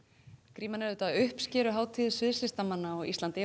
gríman er auðvitað uppskeruhátíð sviðslistafólks á Íslandi